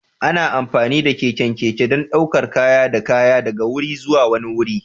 Ana amfani da keken keke don ɗaukar kaya da kaya daga wuri zuwa wani wuri.